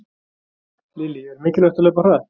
Lillý: Er mikilvægt að hlaupa hratt?